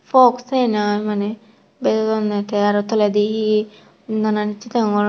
fogg sen mane bejodonne te araw toledi he he nanan hissu deyongor.